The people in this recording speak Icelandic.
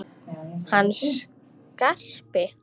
Hann Skarpi?